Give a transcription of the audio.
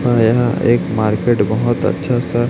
यह एक मार्केट बहोत अच्छा सा--